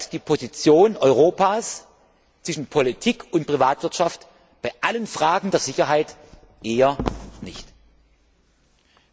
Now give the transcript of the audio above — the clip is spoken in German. die Position Europas zwischen Politik und Privatwirtschaft bei allen Fragen der Sicherheit eher nicht verstärkt.